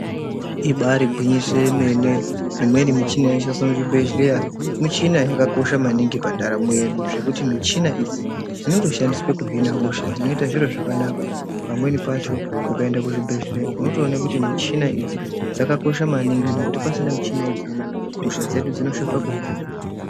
Ibaari gwingiso remene, imweni michhina inoshandiswa muzvibhedhlera, michhina yakakosha paningi pa ndaramo yedu. Zvekuti michhina idzi dzinotoshandiswa kuhina hosha, zvinoita, zviro zvakanaka pamweni pacho ukaenda kuchibhedhlera unotoone kuti michina idzi dzakakosha maningi, ngekuti pasina michina idzoni, hosha dzedu dzinoshupa kuhina.